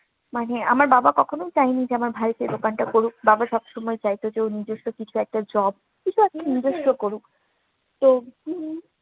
মানে আমার বাবা কখনো চাইনি যে, আমার ভাই যে দোকানটা করুক, বাবা সবসময় চাইতো যে, ও নিজস্ব কিছু একটা job কিছু আরকি নিজস্ব করুক। তো